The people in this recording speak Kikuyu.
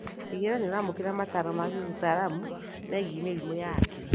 Tigĩrĩra nĩũramũkĩra mataro ma gĩũtaramu megiĩ mĩrimũ ya hakiri